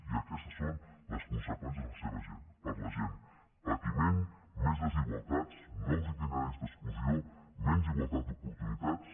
i aquestes són les conseqüències de la seva gent per a la gent patiment més desigualtats nous itineraris d’exclusió menys igualtat d’oportunitats